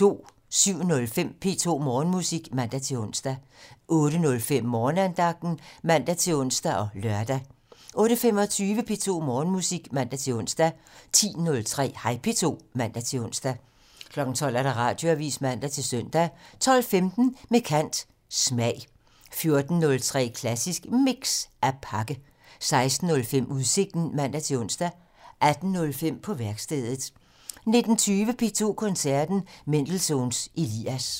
07:05: P2 Morgenmusik (man-ons) 08:05: Morgenandagten (man-ons og lør) 08:25: P2 Morgenmusik (man-ons) 10:03: Hej P2 (man-ons) 12:00: Radioavisen (man-søn) 12:15: Med kant - Smag 14:03: Klassisk Mix - At pakke 16:05: Udsigten (man-ons) 18:05: På værkstedet 19:20: P2 Koncerten - Mendelssohns Elias